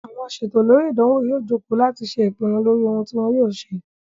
Àwọn asètò lórí ìdánwò yóò joko láti ṣe ìpinnu lórí ohun tí wọ́n yóò ṣe